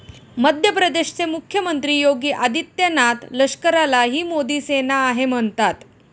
मध्य प्रदेशचे मुख्यमंत्री योगी आदित्यनाथ लष्कराला ही मोदी सेना आहे म्हणतात.